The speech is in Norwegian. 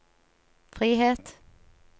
frihet